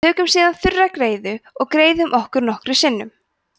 tökum síðan þurra greiðu og greiðum okkur nokkrum sinnum